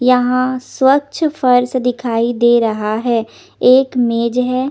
यहा स्वच्छ फर्श दिखाई दे रहा हे एक मेज ह--